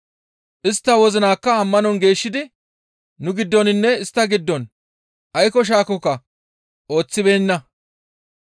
Istta wozinakka ammanon geeshshidi nu giddoninne istta giddon aykko shaakokka ooththibeenna.